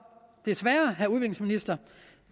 desværre vil